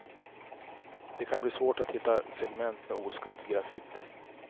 Det kan bli svårt att hitta segment med oskadd graffiti.